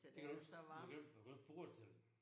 Det kan du ikke det kan du ikke du kan jo ikke forestille dig